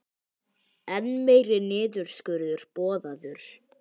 Enn meiri niðurskurður boðaður